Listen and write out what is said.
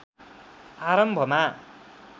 आरम्भमा